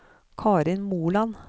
Karin Moland